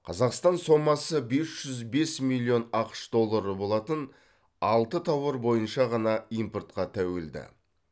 қазақстан сомасы бес жүз бес миллион ақш доллары болатын алты тауар бойынша ғана импортқа тәуелді